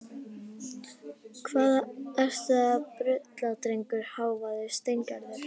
Hvað ertu að bulla drengur? hváði Steingerður.